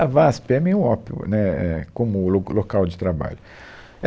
A VASP é meio um ópio, né, é, como lo local de trabalho.